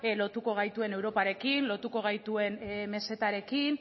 lotuko gaituen europarekin lotuko gaituen mesetarekin